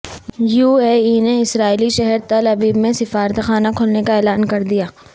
U A E نے اسرائیلی شہر تل ابیب میں سفارتخانہ کھولنے کا اعلان کردیا